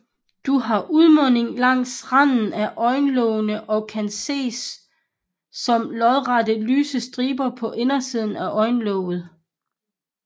Du har udmunding langs randen af øjenlågene og kan ses som lodrette lyse striber på indersiden af øjenlåget